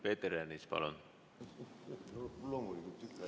Peeter Ernits, palun!